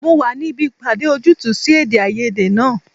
Mo wà níbí ìpàdé ojútùú sí èdèàìyedè náà